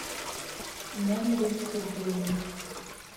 нелли сергеевне